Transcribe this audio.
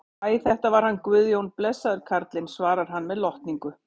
Æ, þetta var hann Guðjón, blessaður karlinn, svarar hann með lotningu.